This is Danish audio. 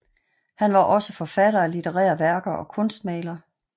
Han var også forfatter af litterære værker og kunstmaler